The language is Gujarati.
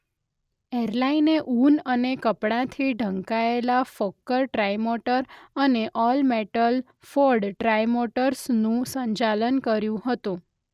એરલાઇને ઊન અને કપડાંથી ઢંકાયેલા ફોક્કર ટ્રાઇમોટર અને ઓલ-મેટલ ફોર્ડ ટ્રાઇમોટર્સનું સંચાલન કર્યું હતું.